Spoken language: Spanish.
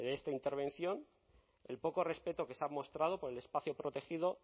de esta intervención el poco respeto que se ha mostrado por el espacio protegido